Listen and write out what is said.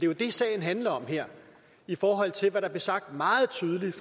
jo det sagen handler om her i forhold til hvad der blev sagt meget tydeligt